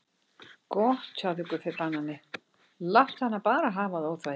Gott hjá þér Guffi banani, láttu hana bara hafa það óþvegið.